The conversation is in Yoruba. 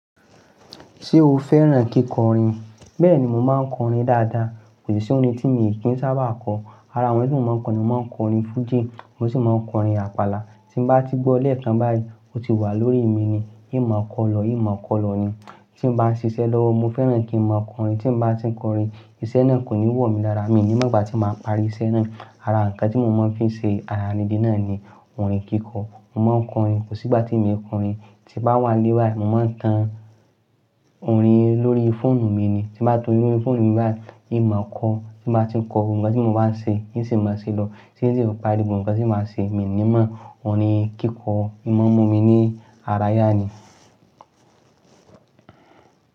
Ṣé o fẹ́ràn kíkọrin? Bẹ́ẹ̀ni, mo máa ń kọrin dáadáa. Kò sì orin tí mi í kí ń sábà kọ. Ara àwọn ẹ́yi tí mo máa ń kọ ni mo máa ń kọrin fújì, mo sì máa ń kọrin àpàlà. Tí mo bá ti gbọ́ lẹ́ẹ̀kan báyìí, ó ti wà lórí mi ni. Míì máa kọ lọ, míì máa kọ lọ ni. Tí mo bá ń ṣiṣẹ́ lọ́wọ́, mo fẹ́ràn kí n máa kọrin. Tí mo bá ti ń kọrin, iṣẹ́ náà kò ní wò mí lára. Mi ni mọ́ gbà tí màá parí iṣẹ́ náà. Ara nǹkan tí mo máa ń fi ṣe ara ni di náà ni orin kíkọ. Mo máa ń kọrin. Kò sí ìgbà tí èmi kò rìn. Tí bá wà nílé báyìí, mo máa ń tan orin lórí fóònù mi ni. Tí mo bá tó yún fónù mi báyìí, míì máa kọ. Tí mo bá ti ń kọ, ohùn kan tí mo bá ṣe, í sì máa ṣe lọ. Tí tí fì yọ̀ pari ibùn kan sì máa ṣe, èmi ni mọ́ orin ni kíkọ. Ìmọ̀ ọmumi mi ni ara yá ni.